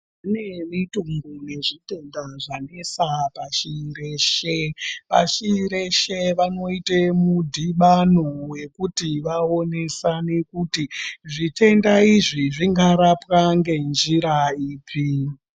Kune mitombo nezvitenda zvakanetsa pashireshe pashireshe vanoite mudhibano wekuti vaonesane kuti zvitenda izvi zvingarapwa ngenjira ipi